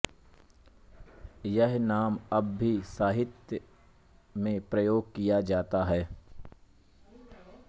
यह नाम अब भी साहित्य में प्रयोग किया जाता है